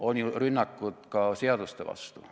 On ju rünnakud ka seaduste vastu.